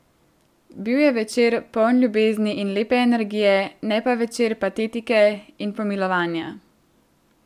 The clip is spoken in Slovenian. Bil je večer, poln ljubezni in lepe energije, ne pa večer patetike in pomilovanja.